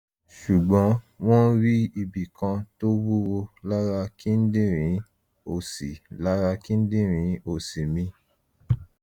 ṣùgbọ́n wọ́n rí ibi kan tó wúwo lára kíndìnrín òsì lára kíndìnrín òsì mi